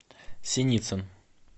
синицын